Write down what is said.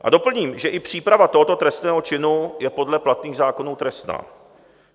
A doplním, že i příprava tohoto trestného činu je podle platných zákonů trestná.